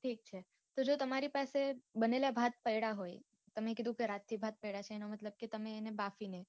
ઠીક છે જો તમારે પાસે બનેલા ભાત પડા હોય તમે કીધું કે રાતથી ભાત પડા છે એનો મતલબ કે તમે એને બાફી ને